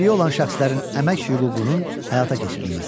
Əlilliyi olan şəxslərin əmək hüququnun həyata keçirilməsi.